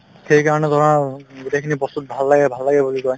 সেইকাৰণে ধৰা গোটেইখিনি বস্তুতো ভাল লাগে ভাল লাগে বুলি কয়